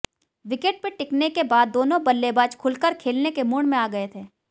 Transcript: wicket पे टिकने के बाद दोनों बल्लेबाज खुलकर खेलने के मूड में आ गए थे